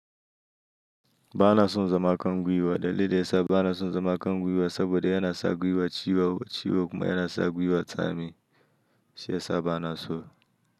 Ba na son zama a kan gwiwa. Dalilin da ya sa ba na son zama a kan gwiwa saboda yana sa gwiwa ciwo ciwo kuma yana sa gwiwa tsami. Shi ya sa ba na so.